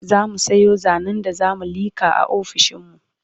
zamu Sayo zanen da zamu liƙa a ofishinmu